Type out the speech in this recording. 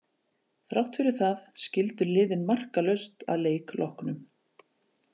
Þrátt fyrir það skildu liðin markalaust að leik loknum.